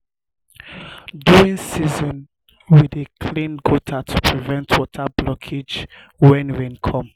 during um dry um season um we dey clean gutters to prevent water blockage when rain come.